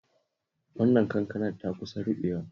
Wannan kankanar ta kusa ruɓewa